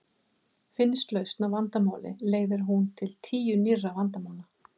Finnist lausn á vandamáli leiðir hún til tíu nýrra vandamála.